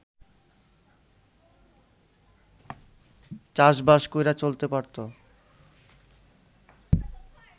চাষবাস কইরা চলতে পারত